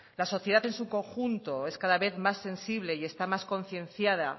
la sociedad en su conjunto es cada vez más sensible y está más concienciada